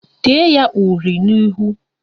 Tee ya uri n'ihu!